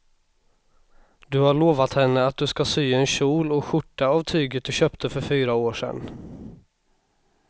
Du har lovat henne att du ska sy en kjol och skjorta av tyget du köpte för fyra år sedan.